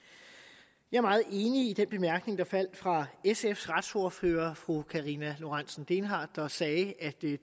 jeg er meget enig i den bemærkning der faldt fra sfs retsordfører fru karina lorentzen dehnhardt der sagde at